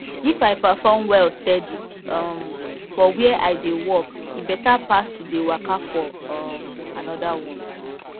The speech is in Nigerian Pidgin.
if i perform well steady um for where i dey work e better pass to dey waka for um another one